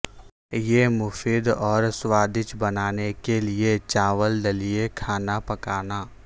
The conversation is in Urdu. یہ مفید اور سوادج بنانے کے لئے چاول دلیہ کھانا پکانا